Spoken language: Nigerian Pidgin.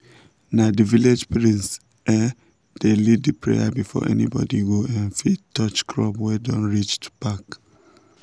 na the village priest um dey lead the prayer before anybody go um fit touch crops wey don reach to pack